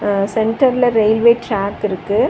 அ சென்டர்ல railway track இருக்கு.